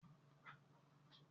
Rárá, mi o kìí ṣe olè.